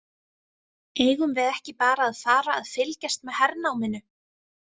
Eigum við ekki bara að fara að fylgjast með hernáminu?